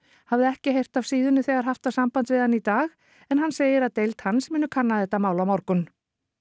hafði ekki heyrt af síðunni þegar haft var samband við hann í dag hann segir að deild hans muni kanna þetta mál á morgun